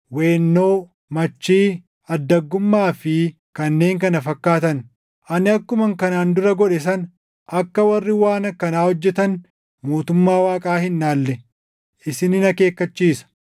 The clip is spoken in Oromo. weennoo, machii, addaggummaa fi kanneen kana fakkaatan. Ani akkuman kanaan dura godhe sana akka warri waan akkanaa hojjetan mootummaa Waaqaa hin dhaalle isinin akeekkachiisa.